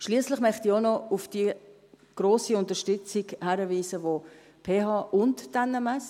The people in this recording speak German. Schliesslich möchte ich auch noch auf die grosse Unterstützung der PH und der NMS hinweisen.